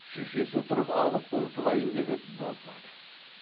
шешесі тұрып алып ұмтылайын деп еді болмады